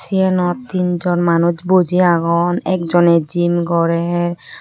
siyanot tinjon manus buji agon ekojoney jim gorer.